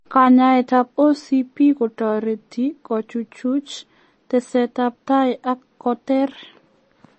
Kanyaet ap OCP kotoreti kochuchuuch tesetaptai ak koter